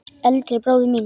Eldri bróður míns?